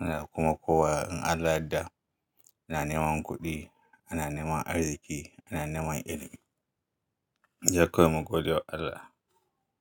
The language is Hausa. Muna kuma kowa in Allah da, ana nema kuɗi, ana nema arziki, ana nema ilimi. Sedai kawai mu gode wa Allah.